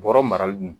Bɔrɔ marali